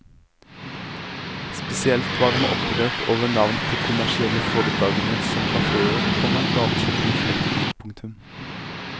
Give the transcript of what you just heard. Spesielt var han opprørt over navn på kommersielle foretagender som kaféer, komma gatekjøkken og forretninger. punktum